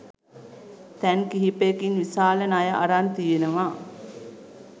තැන් කිහිපයකින් විශාල ණය අරන් තියෙනවා.